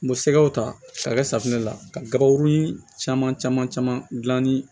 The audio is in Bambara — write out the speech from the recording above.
N bɛ sɛgɛw ta sa kɛ safunɛ la ka gabakurun caman caman caman gilan ni